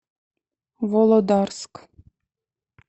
володарск